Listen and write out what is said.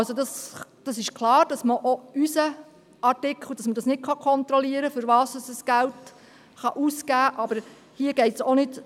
: Es ist klar, dass auch mit unserem Artikel nicht kontrolliert werden kann, wofür das Geld ausgegeben wird, aber darum geht es hier nicht.